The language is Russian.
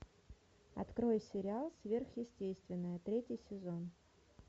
открой сериал сверхъестественное третий сезон